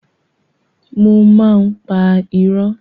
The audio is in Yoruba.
Mo máa ń pa irọ́.